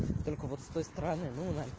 только вот с той стороны ну на